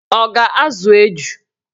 Ọ ga-azụ eju?